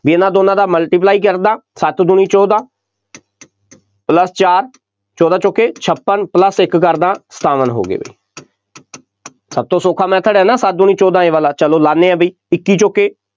ਬਈ ਇਹਨਾ ਦੋਨਾਂ ਦਾ multiply ਕਰ ਦਿਆਂ, ਸੱਤ ਦੂਣੀ ਚੋਦਾਂ plus ਚਾਰ, ਚੋਦਾਂ ਚੌਕੇ ਛਪਨ plus ਇੱਕ ਕਰ ਦਿਆਂ, ਸਤਾਵਨ ਹੋ ਗਏ, ਬਈ ਸਭ ਤੋਂ ਸੌਖਾ method ਹੈ ਨਾ, ਸੱਤ ਦੂਣੀ ਚੋਦਾਂ ਇਹ ਵਾਲਾ, ਚੱਲੋ ਲਾਉਂਦੇ ਹਾਂ ਬਈ, ਇੱਕੀ ਚੌਕੇ